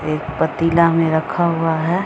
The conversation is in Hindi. एक पतीला में रखा हुआ है।